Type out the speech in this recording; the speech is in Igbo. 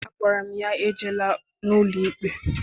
Agwara m ya, ejela n'ụlọikpe!